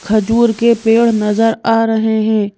खजूर के पेड़ नजर आ रहे हैं।